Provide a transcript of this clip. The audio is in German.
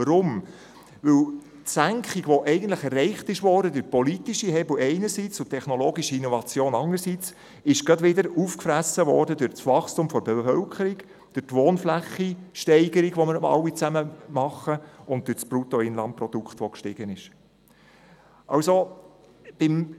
Weshalb? – Die Senkung, die eigentlich durch politische Hebel einerseits und durch technologische Innovationen andererseits erreicht worden ist, wurde sogleich wieder durch das Wachstum der Bevölkerung, durch die Steigerung der Wohnfläche sowie durch das steigende Bruttoinlandprodukt aufgefressen.